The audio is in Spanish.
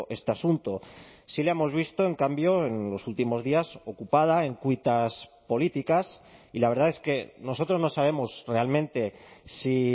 este asunto sí la hemos visto en cambio en los últimos días ocupada en cuitas políticas y la verdad es que nosotros no sabemos realmente si